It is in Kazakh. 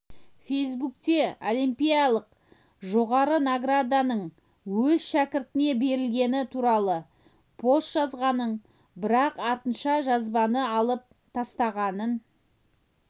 фейсбукте олимпиялық жоғары награданың өз шәкіртіне берілгені туралы пост жазғанын бірақ артынша жазбаны алып тастағанын